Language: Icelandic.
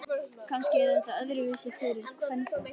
Kannski er þetta líka öðruvísi fyrir kvenfólk.